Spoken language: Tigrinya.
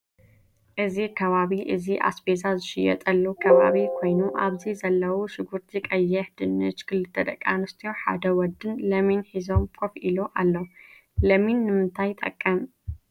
እዚ ከባቢ እዚ ኣስበዛ ዝሽየጠሉ ከባቢ ኮይኑ ኣብዚ ዘለው ሽጉርቲ ቀይሕ ድንሽን ክልተ ደቂ ኣንስትዮን ሓደ ወድን ለሚን ሒዞ ኮፍ ኢሎ ኣሎ። ለሚን ንምታይ ይጠቅም?